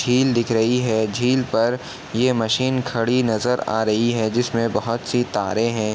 झील दिख रही है झील पर ये मशीन खड़ी नजर आ रही है जिस में बहोत सी तारे हैं।